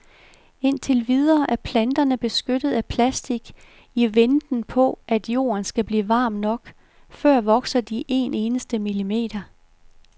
Indtil videre er planterne beskyttet af plastic i venten på at jorden skal blive varm nok, før vokser de en eneste millimeter.